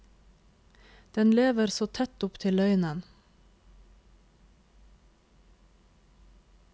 Den lever så tett opptil løgnen.